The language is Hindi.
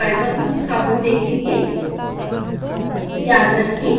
आगे हम driver संस्थापन देखेंगे